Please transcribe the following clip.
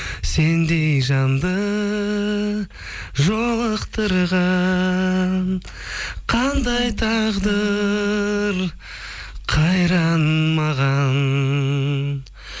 сендей жанды жолықтырған қандай тағдыр қайран маған